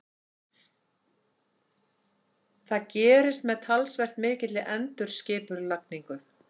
Það gerist með talsvert mikilli endurskipulagningu.